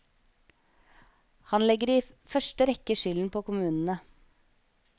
Han legger i første rekke skylden på kommunene.